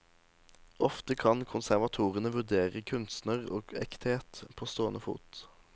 Ofte kan konservatorene vurdere kunstner og ekthet på stående fot.